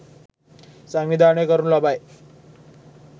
සංවිධානය කරනු ලබයි.